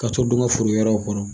Ka to don nka foro wɛrɛ kɔnɔ.